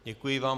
Děkuji vám.